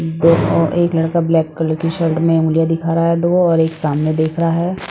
दो अ एक लड़का ब्लैक कलर की शर्ट में उंगलियाँ दिखा रहा हैं दो और एक सामने देख रहा हैं।